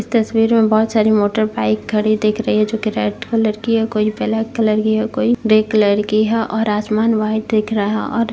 इस तस्वीर में बोहोत सारी मोटर बाइक खड़ी दिख रही है जो कि रेड कलर की है कोई ब्लैक कलर की है कोई ग्रे कलर की है और आसमान व्हाइट दिख रहा और --